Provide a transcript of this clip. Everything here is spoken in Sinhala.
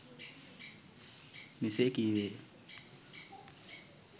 මෙසේ කීවේ ය.